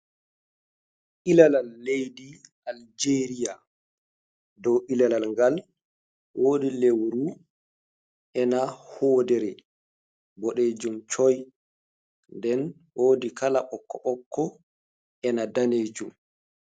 Ilalal, leidi aljeria dow ilalal gal wodi lewru ena hoodere boɗejum coi, nden wodi kala ɓokko ɓokko ena danejum.